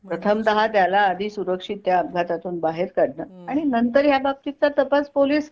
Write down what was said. प्रथमतः त्याला आधी सुरक्षित त्या अपघातातून बाहेर काढणं आणि नंतर याबाबतीचा तपास पोलीस